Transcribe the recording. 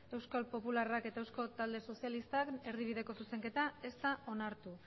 euskal popularrak eta eusko talde sozialistak erdibideko zuzenketa ez da onartu